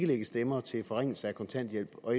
lægge stemmer til forringelser af kontanthjælp og